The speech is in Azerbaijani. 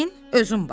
Özün bax.